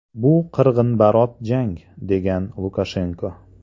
Bu qirg‘inbarot jang”, degan Lukashenko.